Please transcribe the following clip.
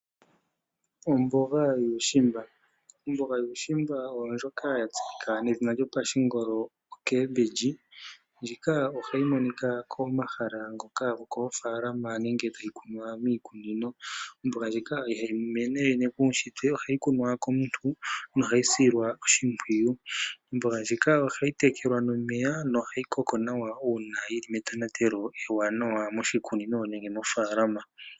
Omboga yuushimba Omboga yuushimba oyo ndjoka ya tseyika nedhina lyopashingolo ocabbage, ndjika ohayi monika komahala ngoka gokoofaalama nenge hadhi kunwa miikunino. Omboga ndjika ihayi mene puushitwe, ohayi kunwa komuntu nohayi silwa oshimpwiyu. Omboga ndjika ohayi tekelwa nomeya nohayi koko nawa uuna yili metonatelo ewanawa moshikunino nenge mofaalama.